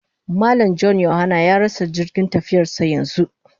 Mallam(John/Yahanna) ya rasa jirgin tafiyarsa yanzu